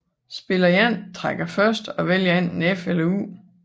Spiller 1 trækker først og vælger enten F eller U